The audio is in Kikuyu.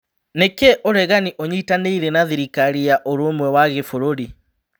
Nĩkĩĩ ũregani ũnyitanĩire na Thirikari ya ũrũmwe wa Gĩbũrũri?